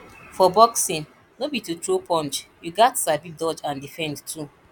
for boxing no be to throw punch you gats sabi dodge and defend too